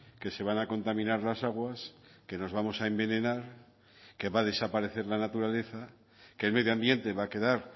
que se van a contaminar las aguas que nos vamos a envenenar que va a desaparecer la naturaleza que el medio ambiente va a quedar